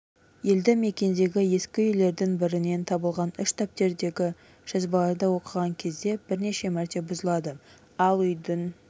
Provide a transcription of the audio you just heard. елді-мекендегі ескі үйлердің бірінен табылған үш дәптердегі жазбаларды оқыған кезде бірнеше мәрте бұзылады ал үйдің